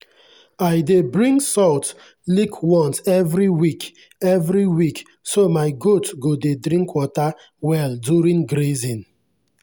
i dey bring salt lick once every week every week so my goats go dey drink water well during grazing.